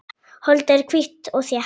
Holdið er hvítt og þétt.